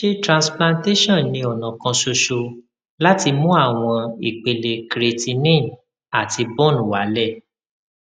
ṣé transplantation ni ọnà kan ṣoṣo láti mú àwọn ìpele creatinine àti bun wálẹ